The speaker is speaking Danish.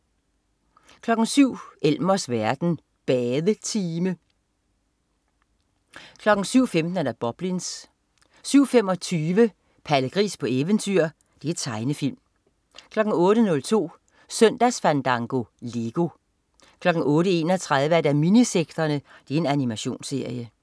07.00 Elmers verden. Badetime 07.15 Boblins 07.25 Palle Gris på eventyr. Tegnefilm 08.02 Søndagsfandango. Lego 08.31 Minisekterne. Animationsserie